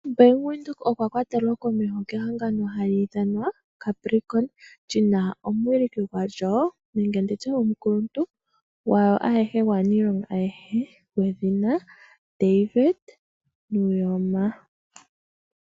Bank Windhoek okwa kwatelwa komeho kehangano hali ithanwa Capricorn, Lina omuwiliki gwalyo nenge nditye omukuluntu gwaniilonga ayehe gwedhina David Nuyoma.